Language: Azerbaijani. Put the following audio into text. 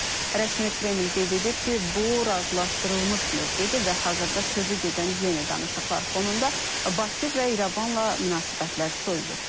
Rəsmi Kreml qeyd edib ki, bu razılaşdırılmış mövqedi və hazırda sözügedən yeni danışıqlar fonunda Bakı və İrəvanla münasibətlər soyuyub.